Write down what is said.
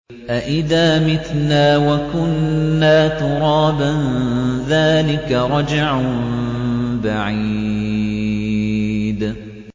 أَإِذَا مِتْنَا وَكُنَّا تُرَابًا ۖ ذَٰلِكَ رَجْعٌ بَعِيدٌ